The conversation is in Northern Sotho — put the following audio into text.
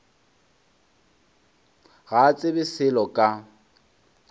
ga a tsebe selo ka